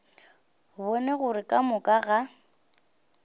bone gore ka moka ga